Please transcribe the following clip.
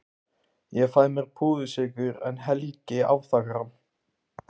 Ég fæ mér púðursykur en Helgi afþakkar hann.